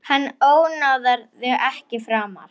Hann ónáðar þig ekki framar.